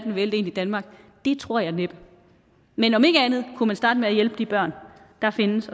vælte ind i danmark det tror jeg næppe men om ikke andet kunne man starte med at hjælpe de børn der findes